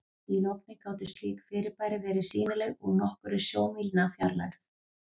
Í logni gátu slík fyrirbæri verið sýnileg úr nokkurra sjómílna fjarlægð.